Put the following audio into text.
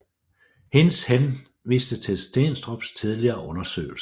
Hinz henviste til Steenstrups tidligere undersøgelse